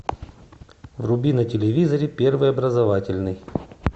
вруби на телевизоре первый образовательный